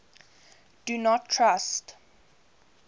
do not trust